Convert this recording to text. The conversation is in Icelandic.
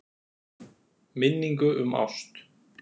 Minningu um ást.